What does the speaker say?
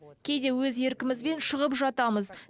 кейде өз еркімізбен шығып жатамыз